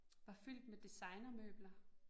Var fyldt med designermøbler